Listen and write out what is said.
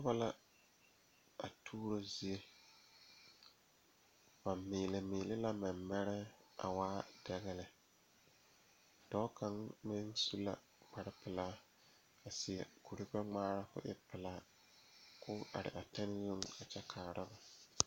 Nobɔ la a tuuro zie ba miilimiile la mɛmɛrɛɛ a te waa dɛgɛ lɛ dɔɔ kaŋ meŋ su la kparepelaa seɛ kurigbɛngmaara ko e pelaa koo are a tɛne zuŋ a kyɛ kaara.